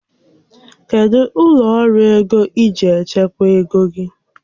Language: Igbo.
Kedụ ụlọ ọrụ ego iji echekwa ego gị?